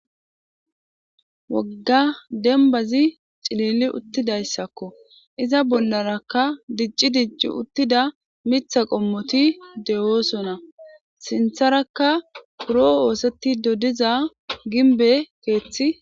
Wogga dembbazi cilili uttizayssako. Iza bollarakka dicci dicci uttida mitha qommoti de7oosona. Sintharakka buroo oosettido diza gimbbe keethi.